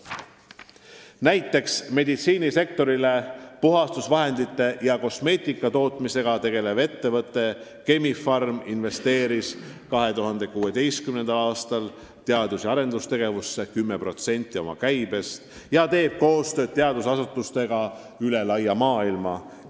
Näiteks meditsiinisektorile puhastusvahendeid ja kosmeetikat tootev ettevõte Chemi-Pharm investeeris 2016. aastal teadus- ja arendustegevusse 10% oma käibest ja teeb koostööd teadusasutustega üle laia maailma.